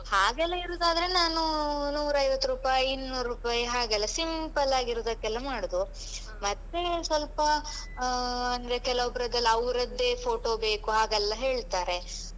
ಹಾಗೆಲ್ಲ ಇರುದಾದ್ರೆ ನಾನು ನೂರೈವತ್ತು ರೂಪಾಯಿ ಇನ್ನೂರು ರೂಪಾಯಿ ಹಾಗೆಲ್ಲ ಸಿಂಪಲ್ಲಾಗಿರುದಕ್ಕೆಲ್ಲ ಮಾಡುದು ಮತ್ತೆ ಸ್ವಲ್ಪ ಆ ಅಂದ್ರೆ ಕೆಲವೊಬ್ರದ್ದೆಲ್ಲ ಅವ್ರದ್ದೇ ಫೋಟೋ ಬೇಕು ಹಾಗೆಲ್ಲ ಹೇಳ್ತಾರೆ.